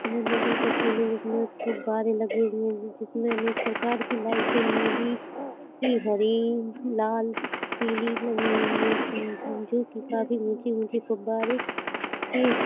यह नदी का सीन है । जिसमे फवारे लगे हुए है जिसमे अनेक प्रकार की लइटें लगी हुई है । नीली पिली हरी लाल पिली लगी हुई है । ऊची ऊची फवारे लगे --